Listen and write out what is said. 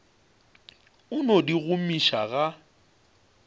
a no di gomiša ga